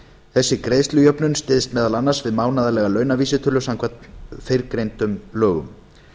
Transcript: þessi greiðslujöfnun styðst meðal annars við mánaðarlega launavísitölu samkvæmt fyrrgreindum lögum